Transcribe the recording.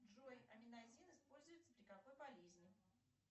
джой аминазин используется при какой болезни